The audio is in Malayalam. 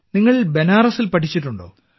നിങ്ങൾ ബനാറസിൽ പഠിച്ചിട്ടുണ്ടോ